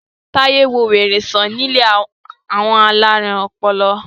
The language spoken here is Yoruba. Taye nwọ wèrè sàn ní ilé àwọn alarun ọpọlọ.